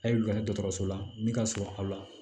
A ye wulada dɔgɔtɔrɔso la min ka surun aw la